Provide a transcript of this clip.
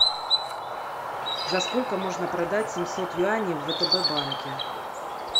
за сколько можно продать семьсот юаней в втб банке